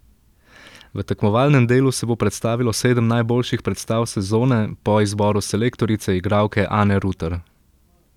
V tekmovalnem delu se bo predstavilo sedem najboljših predstav sezone po izboru selektorice, igralke Ane Ruter.